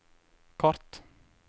kart